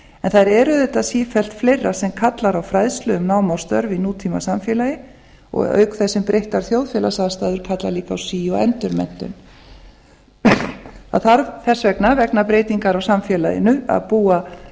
en það er auðvitað sífellt fleira sem kallar á fræðslu um nám og störf nútímasamfélagi auk þess sem breyttar þjóðfélagsaðstæður kalla líka á sí og endurmenntun það þarf þess vegna vegna breytingar á samfélaginu að búa